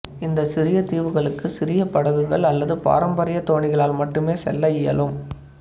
இந்த சிறிய தீவுகளுக்கு சிறிய படகுகள் அல்லது பாரம்பரிய தோணிகளால் மட்டுமே செல்ல இயலும்